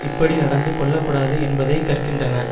இப்படி நடந்து கொள்ள கூடாது என்பதை கற்கின்றன